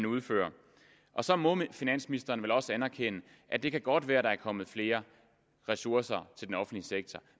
udfører så må finansministeren vel også anerkende at det godt kan være at der er kommet flere ressourcer til den offentlige sektor